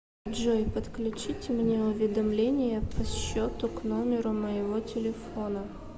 джой подключите мне уведомления по счету к номеру моего телефона